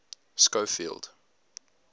schofield